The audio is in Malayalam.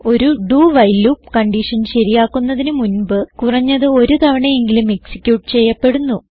ഒരു doവൈൽ ലൂപ്പ് കൺഡിഷൻ ശരിയാക്കുന്നതിന് മുൻപ് കുറഞ്ഞത് ഒരു തവണയെങ്കിലും എക്സിക്യൂട്ട് ചെയ്യപ്പെടുന്നു